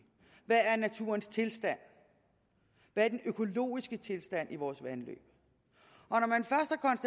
hvad er naturens tilstand hvad er den økologiske tilstand i vores vandløb